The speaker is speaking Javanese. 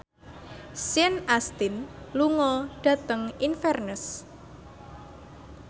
Sean Astin lunga dhateng Inverness